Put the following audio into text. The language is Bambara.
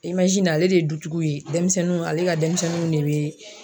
ale de ye dutigiw ye denmisɛnninw ale ka denmisɛnninw de be